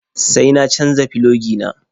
Sai na canja filogi na.